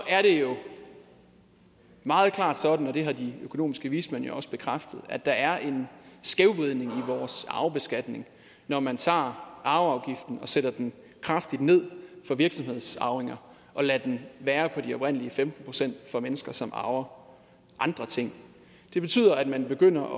er det jo meget klart sådan og det har de økonomiske vismænd jo også bekræftet at der er en skævvridning i vores arvebeskatning når man tager arveafgiften og sætter den kraftigt ned for virksomhedsarvinger og lader den være på de oprindelige femten procent for mennesker som arver andre ting det betyder at man begynder